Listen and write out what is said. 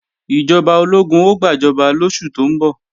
Ìjọba ológun ó gbàjọba lóṣù tó ń bọ̀